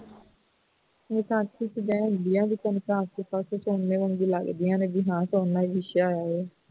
ਵਰਗੀਆਂ ਲੱਗਦੀਆਂ ਨੇ ਉਨ੍ਹਾਂ ਹੀ ਲਿਖਿਆ ਹੋਵੇ